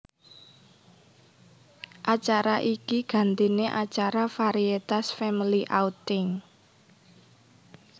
Acara iki gantine acara varietas Family Outing